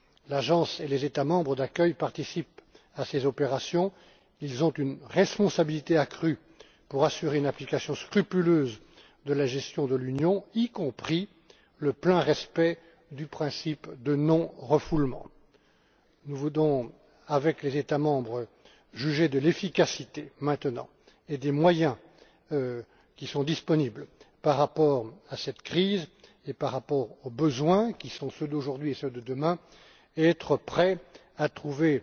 L'agence et les États membres d'accueil participent à ces opérations. Ils ont une responsabilité accrue pour assurer une application scrupuleuse de la gestion de l'Union, y compris le plein respect du principe de non refoulement. Nous voulons, avec les États membres, juger maintenant de l'efficacité et des moyens qui sont disponibles par rapport à cette crise et par rapport aux besoins, qui sont ceux d'aujourd'hui et ceux de demain, et nous voulons être prêts à trouver